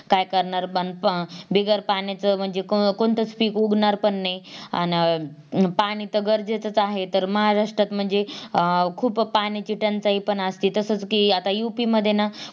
काय करणार पण बिगर पाण्याचं म्हणजेच कोणतच पीक उगणार नाही अन पाणी तर गरजेचंच आहे तर महाराष्ट्रात म्हणजे अं खूप पाण्याची टंचाई पण असते तसच ती आता Up मध्ये ना